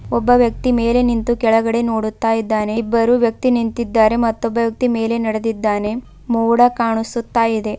ಒಬ್ಬ ವ್ಯಕ್ತಿ ಮೇಲೆ ನಿಂತು ಕೆಳಗಡೆ ನೋಡುತ್ತಾ ಇದ್ದಾನೆ ಇಬ್ಬರು ವ್ಯಕ್ತಿ ನಿಂತಿದ್ದಾರೆ ಮತ್ತೊಬ್ಬ ವ್ಯಕ್ತಿ ಮೇಲೆ ನಡೆದಿದ್ದಾನೆ ಮೋಡ ಕಾಣಿಸುತ್ತಾ ಇದೆ.